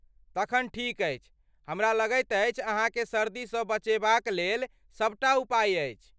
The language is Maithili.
तखन ठीक अछि। हमरा लगैत अछि अहाँकेँ सर्दीसँ बचेबाक लेल सबटा उपाय अछि।